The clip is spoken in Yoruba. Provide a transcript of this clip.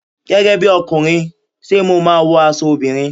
Gẹ́gẹ́ bíi ọkùnrin, ṣé mo máa wọ aṣọ obìnrin?